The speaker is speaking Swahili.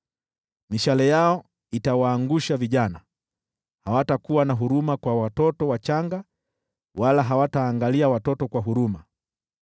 Mishale yao itawaangusha vijana, hawatakuwa na huruma kwa watoto wachanga wala hawataangalia watoto kwa huruma.